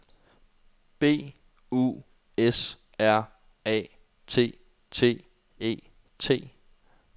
B U S R A T T E T